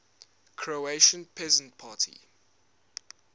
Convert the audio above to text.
croatian peasant party